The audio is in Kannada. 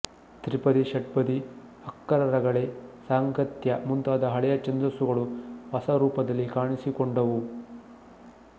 ತ್ರಿಪದಿ ಷಟ್ಪದಿ ಅಕ್ಕರ ರಗಳೆ ಸಾಂಗತ್ಯಮುಂತಾದ ಹಳೆಯ ಛಂದಸ್ಸುಗಳು ಹೊಸ ರೂಪದಲ್ಲಿ ಕಾಣಿಸಿಕೊಂಡುವು